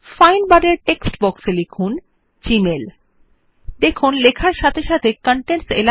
as we type we see that the first instance of that text is being highlighted in the contents area